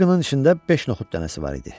Bir qının içində beş noxud dənəsi var idi.